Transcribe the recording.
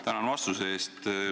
Tänan vastuse eest!